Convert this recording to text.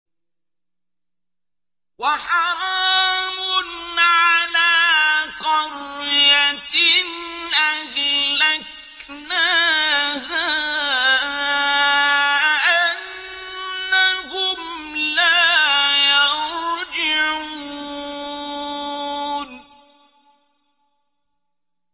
وَحَرَامٌ عَلَىٰ قَرْيَةٍ أَهْلَكْنَاهَا أَنَّهُمْ لَا يَرْجِعُونَ